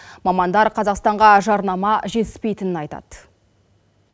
мамандар қазақстанға жарнама жетіспейтінін айтады